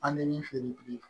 An bɛ min feere bi